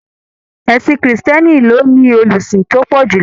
Ẹ̀sìn krìstìẹ́nì ló ní olùsìn tó pọ̀ jùlọ.